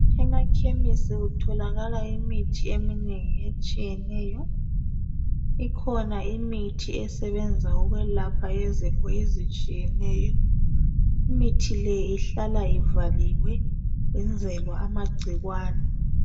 Emakhemisi kutholakala imithi eminengi etshiyeneyo. Ikhona imithi esebenza ukwelapha izifo ezitshiyeneyo. Imithi le ihlala ivaliwe yenzelwa amagcikwane.